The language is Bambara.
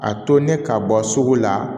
A to ne ka bɔ sugu la